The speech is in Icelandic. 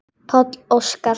Páll Óskar.